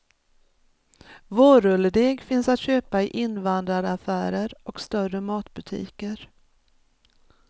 Vårrulledeg finns att köpa i invandraraffärer och större matbutiker.